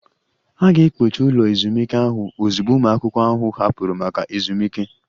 A ga-ekpochi ụlọ ezumike ahụ ozugbo ụmụ akwụkwọ ahụ hapụrụ maka ezumike